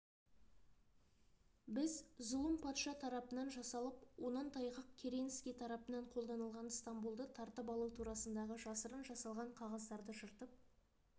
біз зұлым патша тарапынан жасалып онан тайғақ керенский тарапынан қолданылған стамбулды тартып алу турасындағы жасырын жасалған қағаздарды жыртып